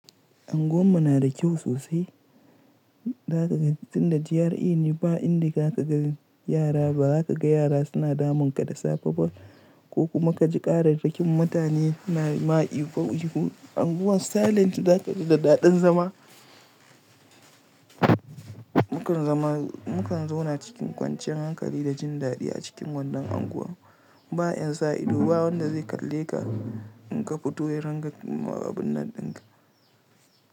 Anguwan mu na da kyau sosai, za kaga tunda GRA ne ba inda za ka ga yara ba. Haka ka ga yara suna damun ka da safa-safa ko kuma ka ji ƙara-ƙarin mutane na ma Ihu ihu Anguwan silent za ka ji da dadin zama. Mukan zama, mu kan zauna cikin kwanciyar hankali da jin daɗi a cikin wannan unguwa. Ba yan sa ido ba wanda zai kalle ka in ka fito yayin ringa ma abin nan dinka.